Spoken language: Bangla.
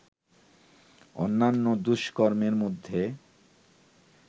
অন্যান্য দুষ্কর্মের মধ্যে